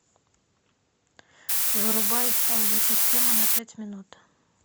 вырубай аудиосистема на пять минут